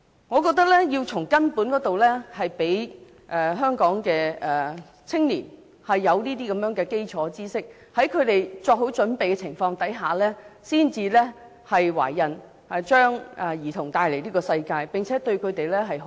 我覺得要從根本入手，讓香港的青年有這方面的基礎知識，使他們在作好準備的情況下才生育，將兒童帶來這個世界，並且好好的對待他們。